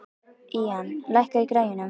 Ían, lækkaðu í græjunum.